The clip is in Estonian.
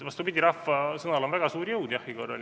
Vastupidi, rahva sõnal on väga suur jõud jahhi korral.